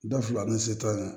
Da fila ni se ta ma